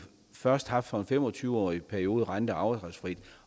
først haft for en fem og tyve årig periode rente og afdragsfrit